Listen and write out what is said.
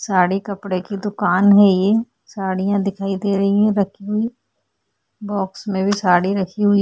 साड़ी कपड़े की दुकान है ये साड़ियां दिखाई दे रही हैं रखी हुई बॉक्स में भी साड़ी रखी हुई --